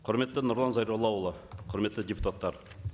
құрметті нұрлан зайроллаұлы құрметті депутаттар